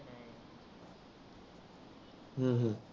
हम्म हम्म